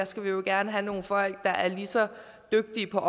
skal jo gerne have nogle folk der er lige så dygtige på